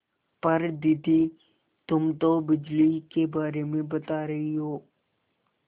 पर दादी तुम तो बिजली के बारे में बता रही हो